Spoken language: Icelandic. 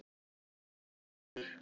Sigmundur